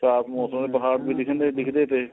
ਸਾਫ਼ ਮੋਸਮ ਵੀ ਡਿਗਦੇ ਡਿਗਦੇ ਥੇ